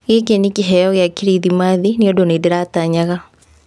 Gĩkĩ nĩ kĩheyo gĩa Kirithimathi nĩũndũ nĩ ndĩratanyaga".